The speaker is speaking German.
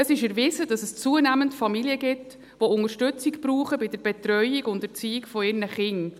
Es ist erwiesen, dass es zunehmend Familien gibt, die bei der Betreuung und Erziehung ihrer Kinder Unterstützung brauchen.